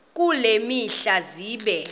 kule mihla zibe